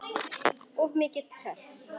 Of mikið stress?